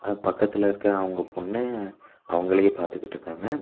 பக்கத்துல இருக்க அவங்க பொண்ணு அவங்களயே பாத்துகிட்டு இருக்காங்க.